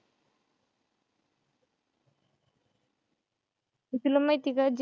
तुला माहितीये का?